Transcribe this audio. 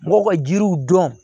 Mɔgɔw ka jiriw dɔn